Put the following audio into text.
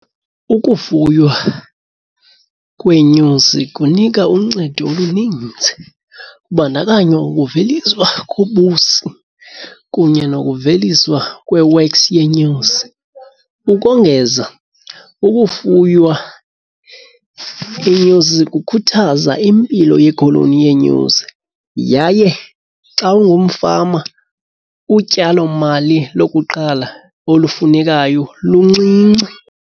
Ukufuywa kweenyosi kunika uncedo oluninzi, kubandakanywa ukuveliswa kobusi kunye nokuveliswa kwe-wax yeenyosi. Ukongeza ukufuywa iinyosi kukhuthaza impilo yekholoni yenyosi yaye xa ungumfama utyalomali lokuqala olufunekayo luncinci.